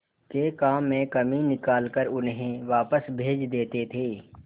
के काम में कमी निकाल कर उन्हें वापस भेज देते थे